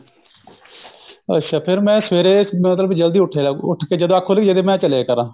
ਅੱਛਾ ਫੇਰ ਮੈਂ ਸਵੇਰੇ ਮਤਲਬ ਕਿ ਜਲਦੀ ਉੱਠੀਆ ਜਾਉ ਉੱਠ ਕੇ ਜਦੋਂ ਅੱਖ ਖੁੱਲ ਗਈ ਚਲਜਿਆ ਕਰ